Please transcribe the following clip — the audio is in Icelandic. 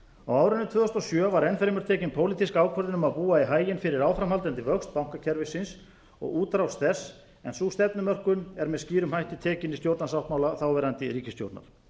árinu tvö þúsund og sjö var enn fremur tekin pólitísk ákvörðun um að búa í haginn fyrir áframhaldandi vöxt bankakerfisins og útrás þess en sú stefnumörkun er með skýrum hætti tekin í stjórnarsáttmála þáverandi ríkisstjórnar